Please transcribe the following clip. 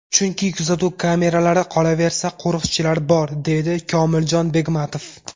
Chunki kuzatuv kameralari, qolaversa, qo‘riqchilar bor”, deydi Komiljon Begmatov.